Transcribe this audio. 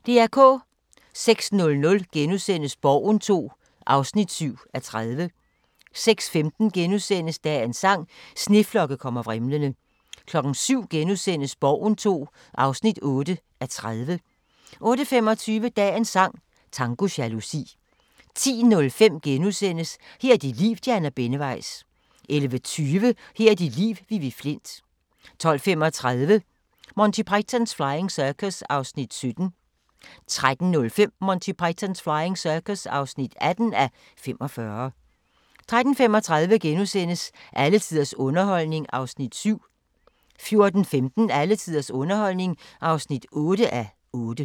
06:00: Borgen II (7:30)* 06:15: Dagens sang: Sneflokke kommer vrimlende * 07:00: Borgen II (8:30)* 08:25: Dagens sang: Tango jalousi 10:05: Her er dit liv – Diana Benneweis * 11:20: Her er dit liv – Vivi Flindt 12:35: Monty Python's Flying Circus (17:45) 13:05: Monty Python's Flying Circus (18:45) 13:35: Alle tiders underholdning (7:8)* 14:15: Alle tiders underholdning (8:8)